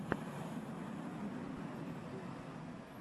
можешь показать геймплан